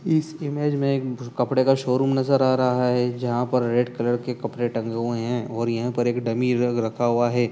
इस इमेज में एक भूर कपड़े का शोरूम नजर आ रहा है जहाँ पर रेड कलर के कपड़े़ टंगे हुए हैं और यहाँ पर एक डमी रख रखा हुआ है।